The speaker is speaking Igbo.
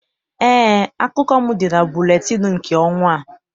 Eé, akụkọ m dị na buletịịnụ nke ọnwa a.